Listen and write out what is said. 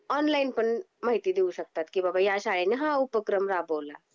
Online पण माहिती देऊ शकतात. की बबा ह्या शाळेनी हा उपक्रम राबवला.